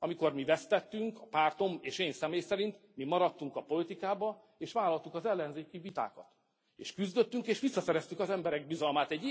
Amikor mi vesztettünk, pártom és én személy szerint, mi maradtunk a politikában és vállaltuk az ellenzéki vitákat, és küzdöttünk, és visszaszereztük az emberek bizalmát.